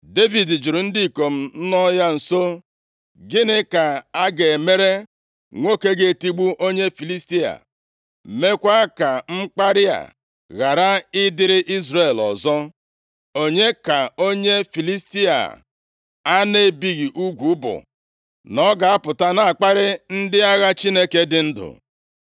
Devid jụrụ ndị ikom nọ ya nso, “Gịnị ka a ga-emere nwoke ga-etigbu onye Filistia a, meekwa ka mkparị a ghara ịdịrị Izrel ọzọ? Onye ka onye Filistia a a na-ebighị ugwu bụ, na ọ ga-apụta na-akparị ndị agha Chineke dị ndụ?”